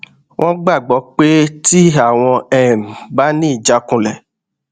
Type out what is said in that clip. wón gbàgbó pé tí àwọn um bá ní ìjákulẹ